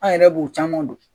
An yɛrɛ b'o caman dɔn